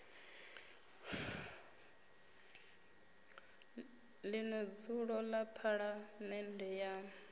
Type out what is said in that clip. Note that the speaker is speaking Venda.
ḽino dzulo ḽa phaḽamennde ya